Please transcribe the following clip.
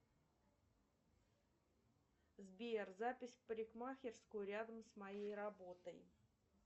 сбер запись в парикмахерскую рядом с моей работой